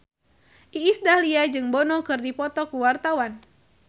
Iis Dahlia jeung Bono keur dipoto ku wartawan